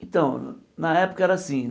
Então, na época era assim.